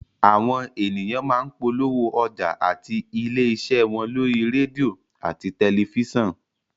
Àwọn ènìyàn má ń polówó ọjà àti ilé iṣẹ́ wọn lórí rédíò àti tẹ̀lifísàn